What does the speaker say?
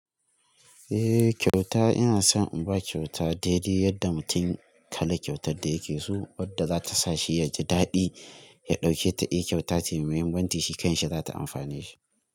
Eh kyauta ina son in ba kyauta daidai yadda mutum kalan kyautar da yake so wadda za ta sa shi ya ji daɗi ya ɗauke ta. Eh kyauta ce mai mahimmanci, shi kansa za ta amfane shi.